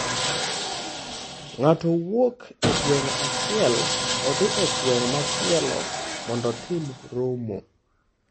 Ng’ato wuok e gweng' achiel odhi e gweng' machielo mondo otim romo.